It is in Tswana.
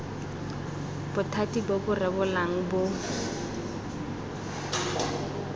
bothati bo bo rebolang bo